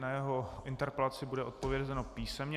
Na jeho interpelaci bude odpovězeno písemně.